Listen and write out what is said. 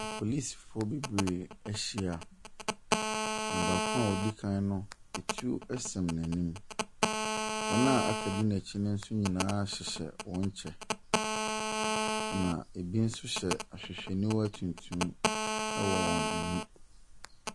Apolisfo bebree ahyia, na baako a odi kan no, tuo sɛn n'ani. Wɔn a aka di n'akyi nso nyinaa hyehyɛ wɔn kyɛ. Na ebi nso hyɛ ahwehwɛniwa tuntum wɔ wɔn ani.